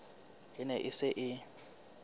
e ne e se e